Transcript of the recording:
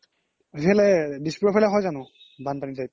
ইফালে দিস্পুৰৰ পিনে হয় যানো বান্পানি type